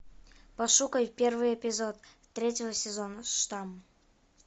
пошукай первый эпизод третьего сезона штамм